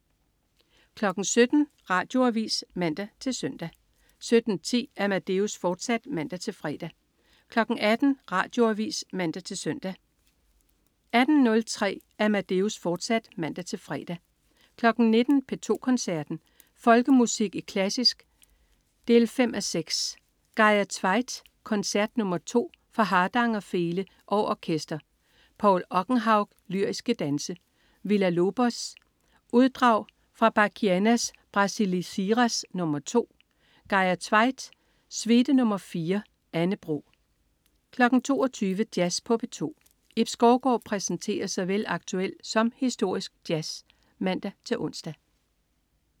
17.00 Radioavis (man-søn) 17.10 Amadeus, fortsat (man-fre) 18.00 Radioavis (man-søn) 18.03 Amadeus, fortsat (man-fre) 19.00 P2 Koncerten. Folkemusik i klassisk 5:6. Geirr Tveitt: Koncert nr. 2 for Hardanger Fele og Orkester. Paul Okkenhaug: Lyriske danse. Villa-Lobos: Uddrag fra Bachianas Brasilesiras nr. 2. Geirr Tveitt: Suite nr. 4. Anne Bro 22.00 Jazz på P2. Ib Skovgaard præsenterer såvel aktuel som historisk jazz (man-ons)